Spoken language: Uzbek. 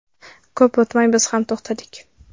Ko‘p o‘tmay biz ham to‘xtadik.